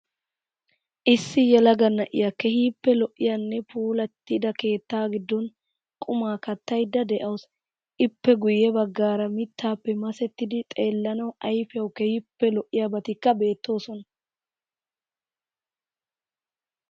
Issi yelaga na'iya keehippe lo'iyanne puulattida keettaa giddon qumma kattayidda de'awuus. Ippe guyye baggaara mittaappe masettidi xeellanawu ayfiyawu keehippe lo'iyabatikka beettoosona.